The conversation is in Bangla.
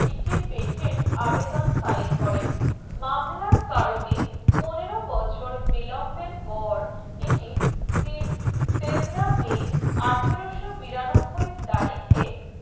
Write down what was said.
একটি patent আবেদন file করেন মামলার কারণে পনেরো বছর বিলম্বের পর এটি পে তেশরা may আঠারোশো বিরানব্বই তারিখে